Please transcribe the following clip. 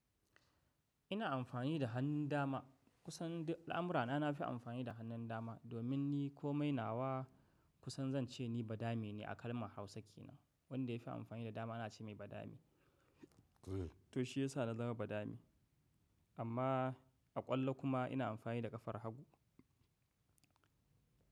Ina amfani da hannun dama. Kusan al'amurana nafi amfani da hannun dama, domin ni ko mai nawa kusan zan ce ni badami ne, a kalmar Hausa ke nan. Wanda ya fi amfani da dama ana ce mai badami. To shi yasa na zama badami. Amma, a ƙwallo kuma ina amfani da ƙafar hagu.